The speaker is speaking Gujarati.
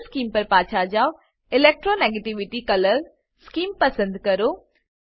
કલર સ્કીમ પર પાછા જાવ ઇલેક્ટ્રોનેગેટિવિટી કલર સ્કીમ પસંદ કરો